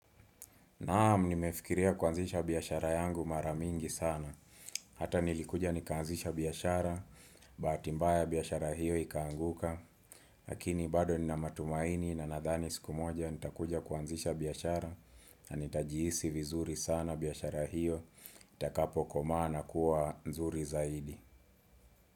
Naam nimefikiria kuanzisha biashara yangu maramingi sana Hata nilikuja nikaanzisha biashara, bahati mbaya biashara hiyo ikaanguka lakini bado nina matumaini na nadhani siku moja nitakuja kuanzisha biashara na nitajiisi vizuri sana biashara hiyo, itakapo koma na kuwa nzuri zaidi.